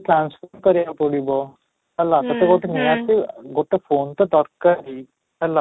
transfer କରିବାକୁ ପଡିବ ହେଲେ ତୋତେ ଗୋଟେ ନିହାତି ଗୋଟେ phone ତ ଦରକାର ହିଁ ହେଲା